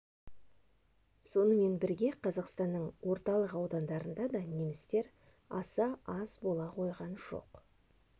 сонымен бірге қазақстанның орталық аудандарында да немістер аса аз бола қойған жоқ